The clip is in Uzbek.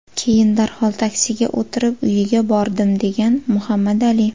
Keyin darhol taksiga o‘tirib uyiga bordim”, degan Muhammad Ali.